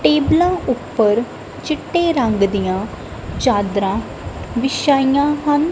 ਟੇਬਲਾਂ ਉੱਪਰ ਚਿੱਟੇ ਰੰਗ ਦੀਆਂ ਚਾਦਰਾਂ ਵਿਛਾਈਆਂ ਹਨ।